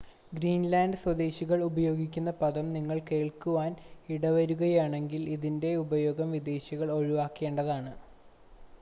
Greenland സ്വദേശികൾ ഉപയോഗിക്കുന്ന പദം നിങ്ങൾ കേൾക്കുവാൻ ഇടവരുകയാണെങ്കിൽ ഇതിൻ്റെ ഉപയോഗം വിദേശികൾ ഒഴിവാക്കേണ്ടതാണ്